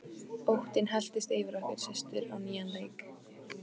Óttinn helltist yfir okkur systur á nýjan leik.